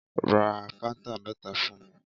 Ra fáńtà mẹ́ta fún mi.